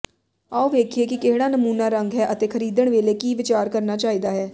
ਆਉ ਵੇਖੀਏ ਕਿ ਕਿਹੜਾ ਨਮੂਨਾ ਰੰਗ ਹੈ ਅਤੇ ਖਰੀਦਣ ਵੇਲੇ ਕੀ ਵਿਚਾਰ ਕਰਨਾ ਚਾਹੀਦਾ ਹੈ